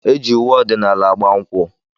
Eji uwe ọdịnala agba nkwụ.